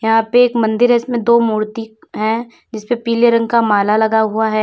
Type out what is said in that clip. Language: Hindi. यहां पे एक मंदिर है इसमें दो मूर्ति है जिस पे पीले रंग का माला लगा हुआ है।